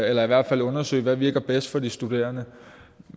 eller i hvert fald undersøge hvad der virker bedst for de studerende